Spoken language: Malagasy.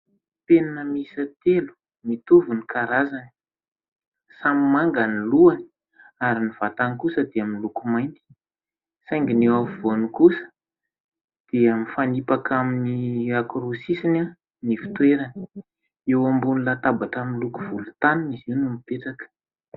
Penina miisa telo mitovy ny karazany: samy manga ny lohany ary ny vatany kosa dia miloko mainty saingy ny afovoany kosa dia mifanipaka amin'ny anankiroa sisiny ny fitoerany, eo ambony latabatra miloko volontany izy io no mipetraka.